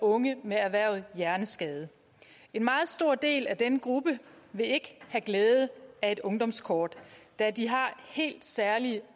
unge med erhvervet hjerneskade en meget stor del af denne gruppe vil ikke have glæde af et ungdomskort da de har helt særlige